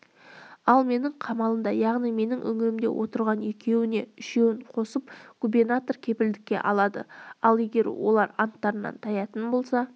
ал менің қамалымда яғни менің үңгірімде отырған екеуіне үшеуін қосып губернатор кепілдікке алады ал егер олар анттарынан таятын болса